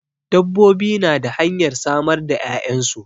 Dabbobi na da hanyar samar da 'ya'yansu.